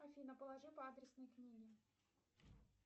афина положи по адресной книге